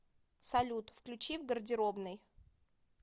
салют включи в гардеробной